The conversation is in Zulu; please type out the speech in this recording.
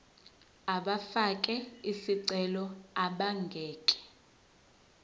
abafake izicelo abangeke